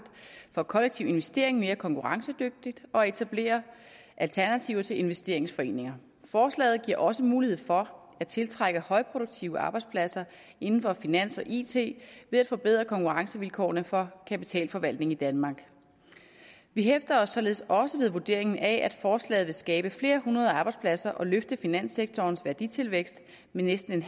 for kollektiv investering mere konkurrencedygtigt og etablere alternativer til investeringsforeninger forslaget giver også mulighed for at tiltrække højproduktive arbejdspladser inden for finans og it ved at forbedre konkurrencevilkårene for kapitalforvaltning i danmark vi hæfter os således også ved vurderingen af at forslaget vil skabe flere hundrede arbejdspladser og løfte finanssektorens værditilvækst med næsten